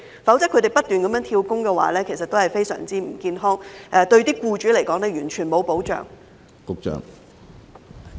否則，他們不斷"跳工"是非常不健康的，對僱主來說也毫無保障。